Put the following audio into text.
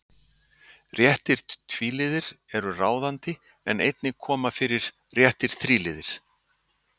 Réttir tvíliðir eru ráðandi en einnig koma fyrir réttir þríliðir.